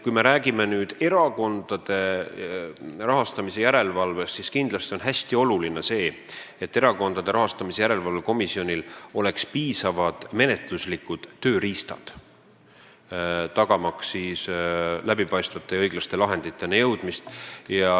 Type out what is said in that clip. Kui me räägime erakondade rahastamise järelevalvest, siis kindlasti on hästi oluline see, et Erakondade Rahastamise Järelevalve Komisjonil oleks piisavad menetluslikud tööriistad tagamaks läbipaistvate ja õiglaste lahenditeni jõudmist.